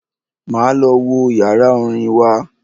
Máa lọ wo yàrá orin wa.